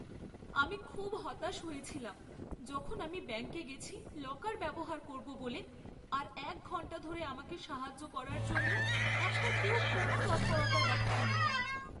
আমি খুব হতাশ হয়েছিলাম যখন আমি ব্যাংকে গেছি লকার ব্যবহার করব বলে আর এক ঘণ্টা ধরে আমাকে সাহায্য করার জন্য একটা কেউ কোনো তৎপরতা দেখায়নি!